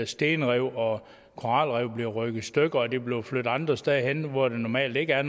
stenrev og koralrev er blevet revet i stykkerne er blevet flyttet andre steder hen hvor der normalt ikke er